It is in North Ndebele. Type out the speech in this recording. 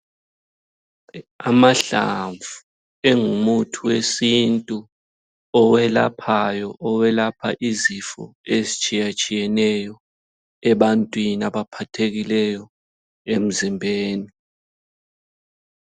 Amahlamvu engumuthi wesintu owelaphayo owelapha izifo ezitshiyetshiyeneyo ebantwini abaphathekileyo emzimbeni.